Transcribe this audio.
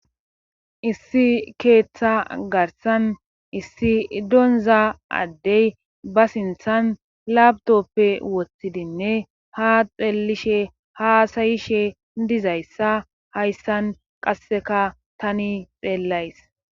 issi keeththa garsan issi donza addey ba sinthan labdoppe wottidinne ha xellishe haasayishe dizayssa hayssan qasseka tani xeellays